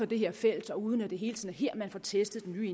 det her felt og uden at det hele tiden er her man får testet den nye